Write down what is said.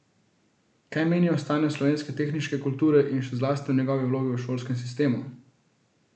Kaj meni o stanju slovenske tehniške kulture in še zlasti o njeni vlogi v šolskem sistemu?